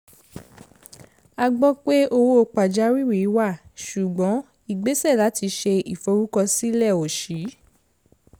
a gbọ́ pé owó pàjáwìrì wà ṣùgbọ́n ìgbésè láti ṣe ìforúkọsílẹ̀ ò ṣí